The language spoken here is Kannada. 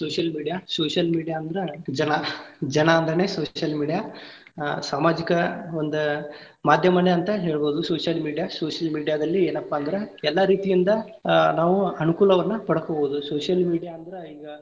Social media, social media ಅಂದ್ರ ಜನಾ, ಜನಾ ಅಂದ್ರೇನೆ social media ಸಾಮಾಜಿಕ ಒಂದ ಮಾದ್ಯಮಾನೇ ಅಂತ ಹೇಳ್ಬಹುದ್ social media, social media ದಲ್ಲಿ ಏನಪ್ಪಾ ಅಂದ್ರ ಎಲ್ಲಾ ರೀತಿಯಿಂದ ಆ ನಾವು ಅನುಕೂಲವನ್ನು ಪಡಕೊಬಹುದು social media ಅಂದ್ರ ಈಗಾ.